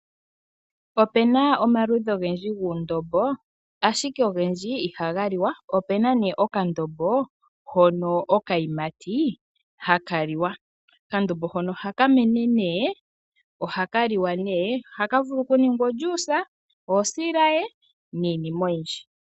Opu na omaludhi ogendji guundombo, ashike ogendji ihaga liwa. Opu na nduno okandombo hono okayimati haka liwa. Okandombo hono ohaka mene, ohaka liwa nohaka vulu okuningwa omeya giiyimati, osilaye niinima oyindji.